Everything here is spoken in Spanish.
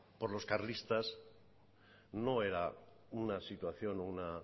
por los carlistas no era una situación o una